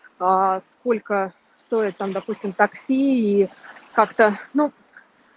аа сколько стоят там допустим такси и как-то ну